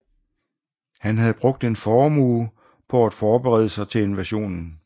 Han havde brugt en formue på at forberede sig til invasionen